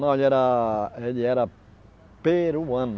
Não, ele era ele era peruano.